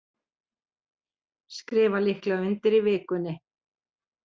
Skrifa líklega undir í vikunni